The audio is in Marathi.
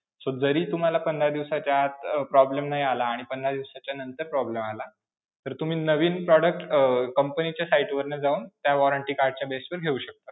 So जरी तूम्हाला पंधरा दिवसाच्या आत अं problem नाही आला आणि पंधरा दिवसाच्यानंतर problem आला, तर तुम्ही नवीन product अं company च्या site वर जाऊन त्या warranty card च्या base वर घेऊ शकता.